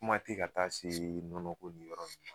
Kuma tɛ ka taa se nɔnɔ ko ni yɔrɔ ninnu ma